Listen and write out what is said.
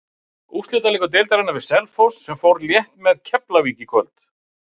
Úrslitaleikur deildarinnar við Selfoss sem fór létt með Keflavík í kvöld.